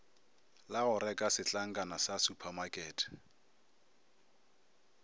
la goreka setlankana sa supamakete